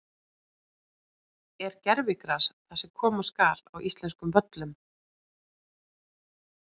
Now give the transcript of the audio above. Er gervigras það sem koma skal á íslenskum völlum?